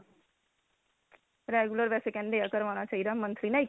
regular ਵੈਸੇ ਕਹਿੰਦੇ ਏ ਕਰਵਾਣਾ ਚਾਹੀਦਾ monthly ਨਾ